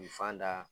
U fan da